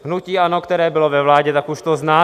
Hnutí ANO, které bylo ve vládě, tak už to zná.